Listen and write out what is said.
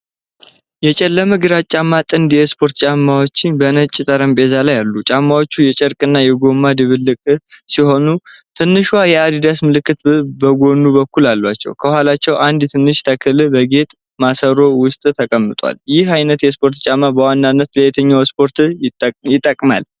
የጨለመ ግራጫማ ጥንድ የስፖርት ጫማዎች በነጭ ጠረጴዛ ላይ አሉ። ጫማዎቹ የጨርቅና የጎማ ድብልቅ ሲሆኑ ትንሿ የadidas ምልክት በጎን በኩል አላቸው። ከኋላቸው አንድ ትንሽ ተክል በጌጥ ማሰሮ ውስጥ ተቀምጧል። ይህ ዓይነት የስፖርት ጫማ በዋናነት ለየትኛው ስፖርት ይጠቅማል?